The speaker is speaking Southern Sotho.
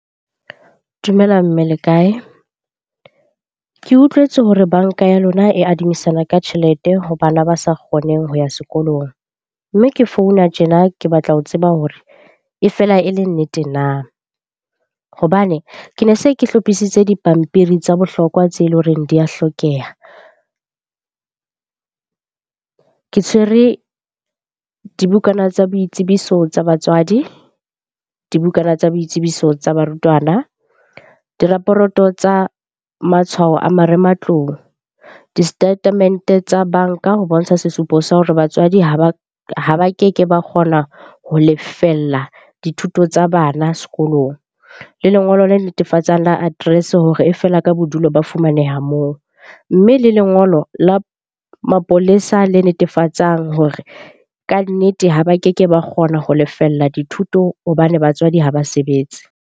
Dumela mme le kae? Ke utlwetse hore banka ya lona e adimisana ka tjhelete ho bana ba sa kgoneng ho ya sekolong. Mme ke founa tjena ke batla ho tseba hore e fela e le nnete na? Hobane ke ne se ke hlophisitse dipampiri tsa bohlokwa tseo e leng horeng di a hlokeha. Ke tshwere dibukana tsa boitsebiso tsa batswadi, dibukana tsa boitsebiso tsa barutwana, di raporoto tsa matshwao a marematlou, di-statement-e tsa banka ho bontsha sesupo sa hore batswadi ha ba keke ba kgona ho lefella dithuto tsa bana sekolong, le lengolo le netefatsang la address-e hore e fela ka bodulo ba fumaneha moo. Mme le lengolo la mapolesa le netefatsang hore kannete ha ba keke ba kgona ho lefella dithuto hobane batswadi ha ba sebetse.